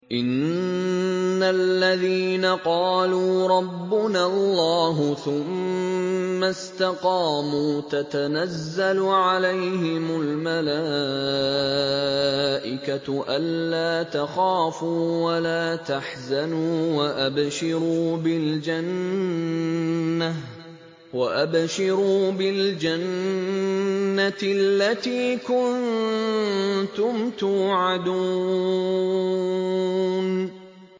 إِنَّ الَّذِينَ قَالُوا رَبُّنَا اللَّهُ ثُمَّ اسْتَقَامُوا تَتَنَزَّلُ عَلَيْهِمُ الْمَلَائِكَةُ أَلَّا تَخَافُوا وَلَا تَحْزَنُوا وَأَبْشِرُوا بِالْجَنَّةِ الَّتِي كُنتُمْ تُوعَدُونَ